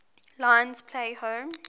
lions play home